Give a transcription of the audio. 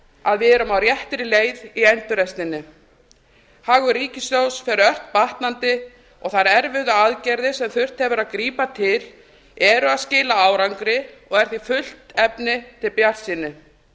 að við erum á réttri leið í endurreisninni hagur ríkissjóðs fer ört batnandi og þær erfiðu aðgerðir sem þurft hefur að grípa til eru að skila árangri og er því fullt efni til bjartsýni